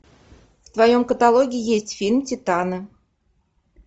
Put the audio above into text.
в твоем каталоге есть фильм титаны